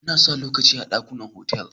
Ana sa lokatai a dakunan otal.